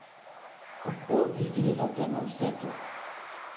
Kako vi gledate na vse to?